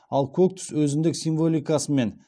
ал көк түс өзіндік символикасымен